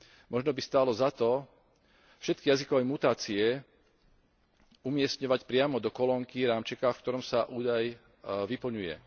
Možno by stálo za to všetky jazykové mutácie umiestňovať priamo do kolónky rámčeka, v ktorom sa údaj vyplňuje.